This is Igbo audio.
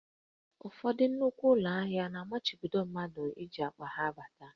Ụfọdụ nnukwu ụlọ ahịa na-amachibido ndị mmadụ iji akpa ha abata